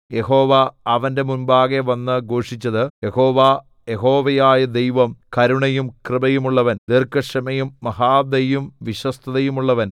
യഹോവ അവന്റെ മുമ്പാകെ വന്ന് ഘോഷിച്ചത് യഹോവ യഹോവയായ ദൈവം കരുണയും കൃപയുമുള്ളവൻ ദീർഘക്ഷമയും മഹാദയയും വിശ്വസ്തതയുമുള്ളവൻ